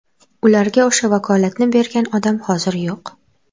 Ularga o‘sha vakolatni bergan odam hozir yo‘q.